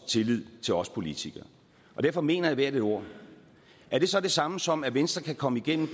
tillid til os politikere derfor mener jeg hvert et ord er det så det samme som at venstre kan komme igennem